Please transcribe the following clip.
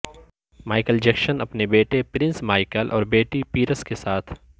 Michael Jackson اپنے بیٹے Prince Michael اور بیٹی پیرس کے ساتھ